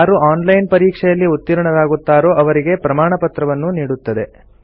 ಯಾರು online ಪರೀಕ್ಷೆಯಲ್ಲಿ ಉತ್ತೀರ್ಣರಾಗುತ್ತಾರೋ ಅವರಿಗೆ ಪ್ರಮಾಣಪತ್ರವನ್ನೂ ನೀಡುತ್ತದೆ